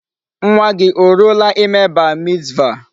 Nwa gi o ruola ime Bar mitzvah?